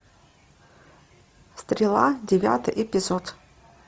стрела девятый эпизод